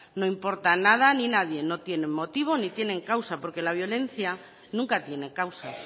no importa nada ni nadie no tienen motivo ni tienen causa porque la violencia nunca tiene causa